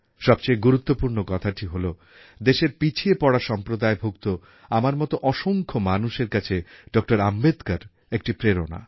সবচেয়ে গুরুত্বপূর্ণ কথাটি হল দেশের পিছিয়ে পড়া সম্প্রদায়ভুক্ত আমার মত অসংখ্য মানুষের কাছে ডক্টর আম্বেডকর এক প্রেরণা